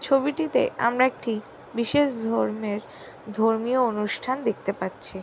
ছবিটিতে আমরা একটি বিশেষ ধর্মের ধর্মীয় অনুষ্ঠান দেখতে পাচ্ছি।